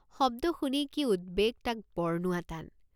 শব্দ শুনি কি উদ্বেগ তাক বৰ্ণোৱা টান।